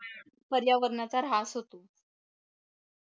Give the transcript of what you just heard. पर्यावरणाचा ऱ्हास होतो